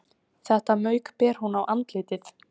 Þetta mauk ber hún á andlitið